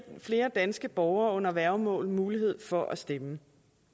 flere danske borgere under værgemål mulighed for at stemme